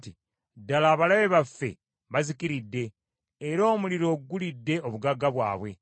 ‘Ddala abalabe baffe bazikiridde, era omuliro gulidde obugagga bwabwe.’